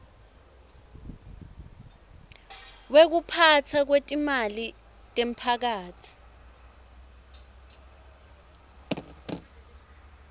wekuphatfwa kwetimali temphakatsi